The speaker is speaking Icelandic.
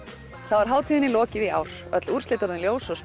er hátíðinni lokið í ár öll úrslit orðin ljós og